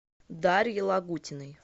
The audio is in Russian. дарье лагутиной